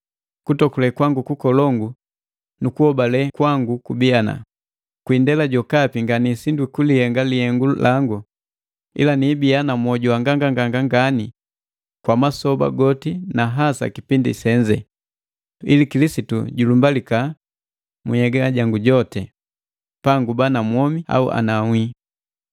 Kutokule kwangu kukolongu nu kuhobale kwangu kubii ana, kwiindala jokapi nganiisindwi kulihenga lihengu langu, ila niibiya na mwoju wa nganganganga ngani kwa masoba goti na hasa kipindi senze, ili Kilisitu julumbilika mu nhyega jango jotii, panguba na mwomi au anawii.